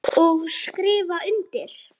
Og skrifa undir.